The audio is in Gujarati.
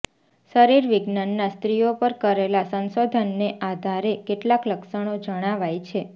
શરીર વિજ્ઞાનના સ્ત્રીઓ પર કરેલા સંશોધનને આધારે કેટલાક લક્ષણો જણાવાયા છે